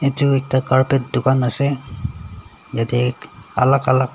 etu ekta carpet dokan ase yati alak alak.